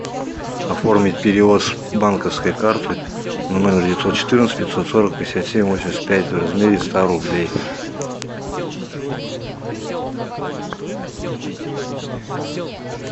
оформить перевод с банковской карты на номер девятьсот четырнадцать пятьсот сорок пятьдесят семь восемьдесят пять в размере ста рублей